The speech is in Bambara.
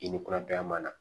I ni kurada ma na